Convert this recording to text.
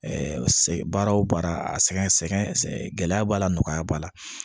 baara o baara a sɛgɛn sɛgɛn sɛgɛn gɛlɛya b'a la nɔgɔya b'a la